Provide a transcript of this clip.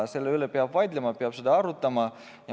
Selle üle peab vaidlema, seda peab arutama.